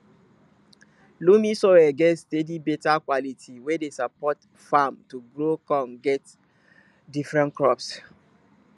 loamy soil get steady beta quality wey dey support farm to grow con get different crops